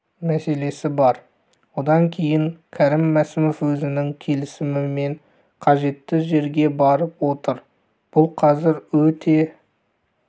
мәселесі бар одан кейін кәрім мәсімов өзінің келісімімен қажетті жерге барып отыр бұл қазір өте